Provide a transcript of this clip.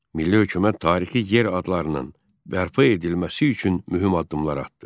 Milli hökumət tarixi yer adlarının bərpa edilməsi üçün mühüm addımlar atdı.